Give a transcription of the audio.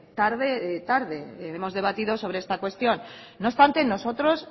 hemos debatido sobre esta cuestión no obstante nosotros